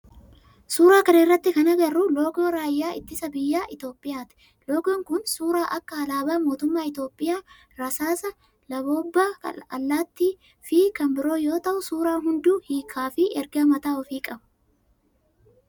Suuraa kana irratti kana agarru loogoo raayyaa ittisa biyyaa Itiyoophiyaati. Loogoon kun suuraa akka alaabaa mootummaa Itiyoophiyaa, rasaasa, laboobbaa allaattii fi kanneen biroo yoo ta'u suuraa hundu hiikkaa fi ergaa mataa ofii qaba.